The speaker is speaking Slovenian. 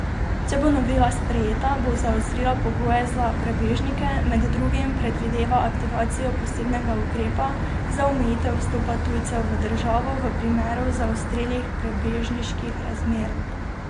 Če bo novela sprejeta, bo zaostrila pogoje za prebežnike, med drugim predvideva aktivacijo posebnega ukrepa za omejitev vstopa tujcev v državo v primeru zaostrenih prebežniških razmer.